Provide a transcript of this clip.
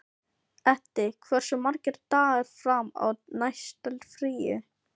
Eddi, hversu margir dagar fram að næsta fríi?